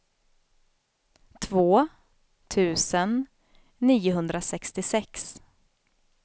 två tusen niohundrasextiosex